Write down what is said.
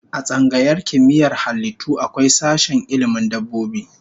A tsangayar Kimiyyar halittu akwai sashen ilmin dabbobi